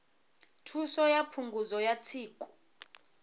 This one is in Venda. thuso ya phungudzo ya tsiku